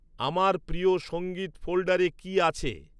আমার প্রিয় সঙ্গীত ফোল্ডারে কি আছে